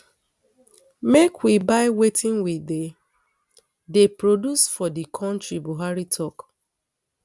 make we buy wetin we dey dey produce for di kontri buhari tok um